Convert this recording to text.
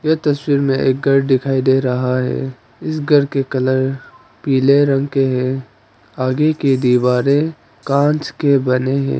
इस तस्वीर में एक घर दिखाई दे रहा है इस घर के कलर पीले रंग के हैं आगे की दीवारें कांच के बने हैं।